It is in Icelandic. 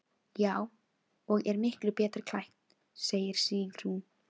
Já, og er miklu betur klætt, segir Sigrún.